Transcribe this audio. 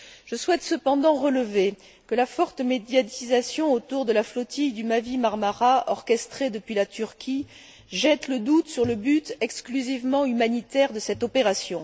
Je souhaite cependant relever que la forte médiatisation autour de la flottille du Mavi Marmara, orchestrée depuis la Turquie, jette le doute sur le but exclusivement humanitaire de cette opération.